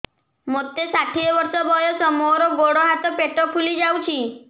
ମୋତେ ଷାଠିଏ ବର୍ଷ ବୟସ ମୋର ଗୋଡୋ ହାତ ପେଟ ଫୁଲି ଯାଉଛି